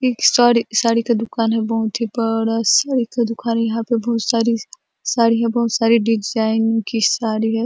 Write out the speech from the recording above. एक साड़ी साडी का दुकान है बहुत ही बड़ा साड़ी का दुकान है यहाँ पे बहुत सारी साड़ी हैं बहुत सारी डिज़ाइन की साडी है।